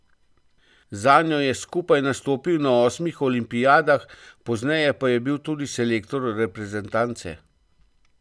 Zanjo je skupaj nastopil na osmih olimpijadah, pozneje pa je bil tudi selektor reprezentance.